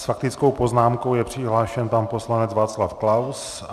S faktickou poznámkou je přihlášen pan poslanec Václav Klaus.